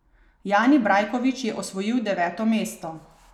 Jani Brajkovič je osvojil deveto mesto.